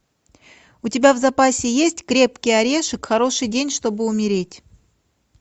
у тебя в запасе есть крепкий орешек хороший день чтобы умереть